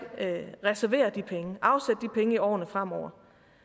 reservere de penge i årene fremover